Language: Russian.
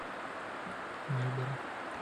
мальборо